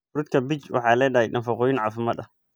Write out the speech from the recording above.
Fruutka peach waxay leedahay nafaqooyin caafimaad.